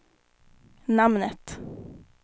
namnet